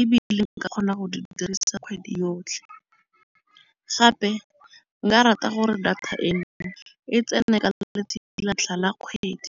Ebile nka kgona go di dirisa kgwedi yotlhe. Gape nka rata gore data e, e tsene ka letsatsi la ntlha la kgwedi.